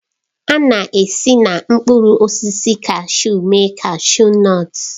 A na-esi na mkpụrụ osisi kashu eme kashu nọtu.